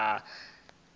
o ita uri hu vhe